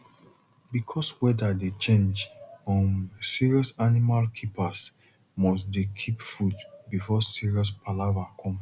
because weather dey change um serious animal keepers must dey keep food before serious palava come